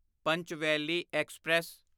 Panchvalley express